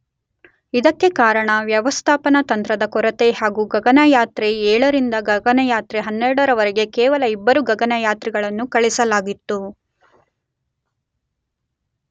ಇದಕ್ಕೆ ಕಾರಣ ವ್ಯವಸ್ಥಾಪನ ತಂತ್ರದ ಕೊರತೆ ಹಾಗು ಗಗನಯಾತ್ರೆ 7ರಿಂದ ಗಗನಯಾತ್ರೆ 12 ವರೆಗೆ ಕೇವಲ ಇಬ್ಬರು ಗಗನಯಾತ್ರಿಗಳನ್ನು ಕಳುಹಿಸಲಾಗಿತ್ತು.